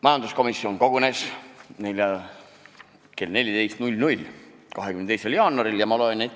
Majanduskomisjon kogunes 22. jaanuaril kell 14.